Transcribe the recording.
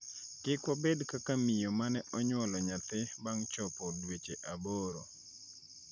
Kik wabed kaka miyo mane onyuolo nyathi bang' chopo dweche aboro.